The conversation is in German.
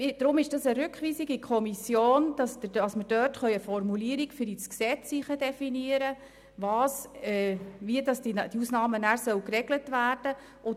Deshalb möchte unser Antrag eine Rückweisung in die Kommission, damit man dort eine Formulierung für das Gesetz definieren kann, welche besagt, wie die Ausnahmen nachher geregelt werden sollen.